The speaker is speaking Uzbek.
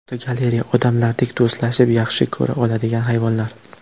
Fotogalereya: Odamlardek do‘stlashib, yaxshi ko‘ra oladigan hayvonlar.